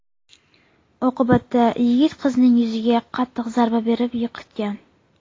Oqibatda yigit qizning yuziga qattiq zarba berib yiqitgan.